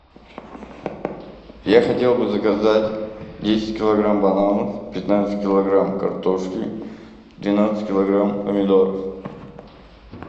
я хотел бы заказать десять килограмм бананов пятнадцать килограмм картошки двенадцать килограмм помидоров